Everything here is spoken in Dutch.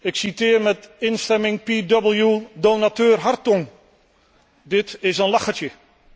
Ik citeer met instemming P double V donateur Hartong dit is een lachertje.